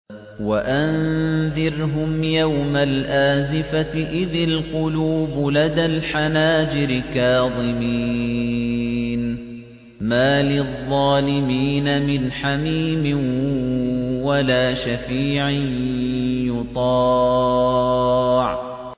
وَأَنذِرْهُمْ يَوْمَ الْآزِفَةِ إِذِ الْقُلُوبُ لَدَى الْحَنَاجِرِ كَاظِمِينَ ۚ مَا لِلظَّالِمِينَ مِنْ حَمِيمٍ وَلَا شَفِيعٍ يُطَاعُ